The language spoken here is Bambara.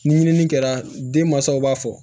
Ni ɲinini kɛra den mansaw b'a fɔ